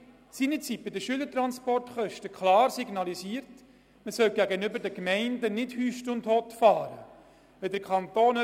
In der Diskussion der Schülertransportkosten signalisierte der Grosse Rat gegenüber den Gemeinden nicht, richtungslos, einmal so und einmal so, zu steuern.